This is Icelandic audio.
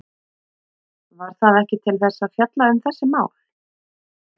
Var það ekki til þess að fjalla um þessi mál?